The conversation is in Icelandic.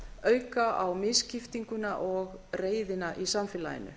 auka á misskiptinguna og reiðina í samfélaginu